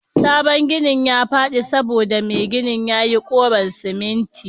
sabon ginin yafadi saboda Mai ginin yayi kouron siminti